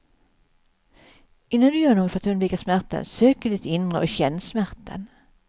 Innan du gör något för att undvika smärtan, sök i ditt inre och känn smärtan.